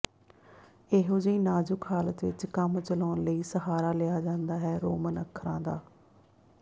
ਏਹੋ ਜਿਹੀ ਨਾਜ਼ੁਕ ਹਾਲਤ ਵਿੱਚ ਕੰਮ ਚਲਾਉਣ ਲਈ ਸਹਾਰਾ ਲਿਆ ਜਾਂਦਾ ਹੈ ਰੋਮਨ ਅੱਖਰਾਂ ਦਾ